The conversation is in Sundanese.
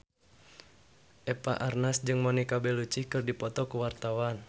Eva Arnaz jeung Monica Belluci keur dipoto ku wartawan